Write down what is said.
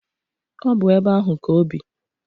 Ọ bụ ebe ahụ ka obi.